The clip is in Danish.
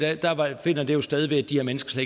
finder det jo sted ved at de her mennesker